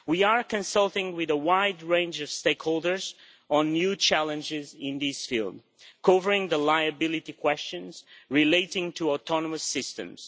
We are consulting with a wide range of stakeholders on the new challenges in this field, covering the liability questions relating to autonomous systems.